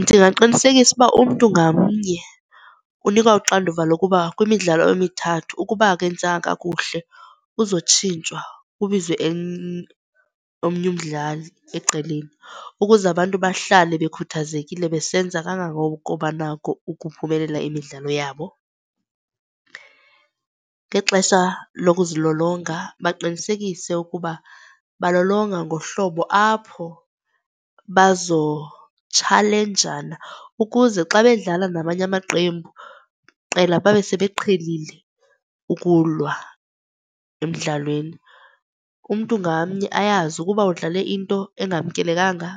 Ndingaqinisekisa uba umntu ngamnye unikwa uxanduva lokuba kwimidlalo emithathu, ukuba akenzanga kakuhle uzotshintshwa kubizwe onmnye umdlali ecaleni ukuze abantu bahlale bekhuthazekile besenza kangangoko banako ukuphumelela imidlalo yabo. Ngexesha lokuzilolonga baqinisekise ukuba balolonga ngohlobo apho bazotshalenjana ukuze xa bedlala namanye amaqembu, qela, babe sebeqhelile ukulwa emdlalweni. Umntu ngamnye ayazi ukuba udlale into engamkelekanga